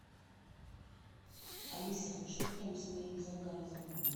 алиса что там с моим заказом